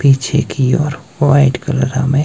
पीछे की ओर व्हाइट कलर हमें--